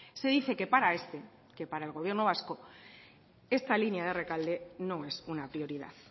se dice que para este que para el gobierno vasco esta línea de rekalde no es una prioridad